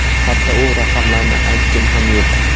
Hatto, u raqamlarni aytgim ham yo‘q.